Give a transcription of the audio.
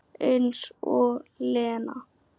Eins og Lena!